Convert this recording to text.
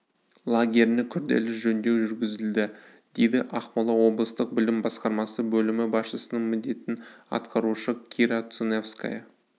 лагеріне күрделі жөндеу жүргізілді дейді ақмола облыстық білім басқармасы бөлімі басшысының міндетін атқарушы кира цуневская